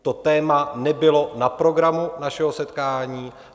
To téma nebylo na programu našeho setkání.